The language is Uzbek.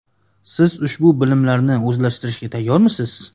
Siz ushbu bilimlarni o‘zlashtirishga tayyormisiz?